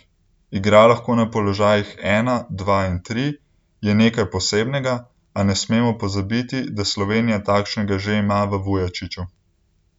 Igra lahko na položajih ena, dva in tri, je nekaj posebnega, a ne smemo pozabiti, da Slovenija takšnega že ima v Vujačiću.